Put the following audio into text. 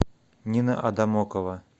нина адамокова